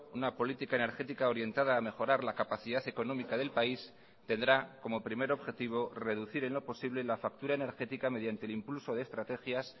una política energética orientada a mejorar la capacidad económica del país tendrá como primer objetivo reducir en lo posible la factura energética mediante el impulso de estrategias